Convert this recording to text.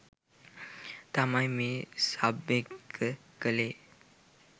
තමයි මේ සබ් එක කළේ.